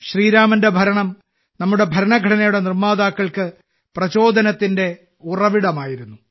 ശ്രീരാമന്റെ ഭരണം നമ്മുടെ ഭരണഘടനയുടെ നിർമ്മാതാക്കൾക്ക് പ്രചോദനത്തിന്റെ ഉറവിടമായിരുന്നു